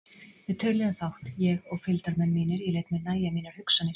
Við töluðum fátt, ég og fylgdarmenn mínir, ég lét mér nægja mínar hugsanir.